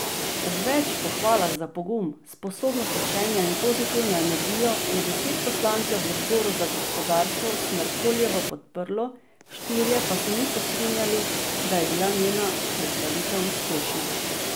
Ob več pohvalah za pogum, sposobnost učenja in pozitivno energijo, je deset poslancev v odboru za gospodarstvo Smerkoljevo podprlo, štirje pa se niso strinjali, da je bila njena predstavitev uspešna.